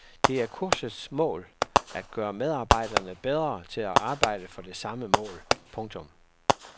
Det er kursets mål at gøre medarbejderne bedre til at arbejde for det samme mål. punktum